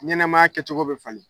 Ɲɛnɛmaya kɛcogo be falen.